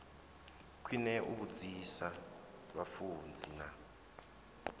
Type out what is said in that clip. khwine u vhudzisa vhafunzi na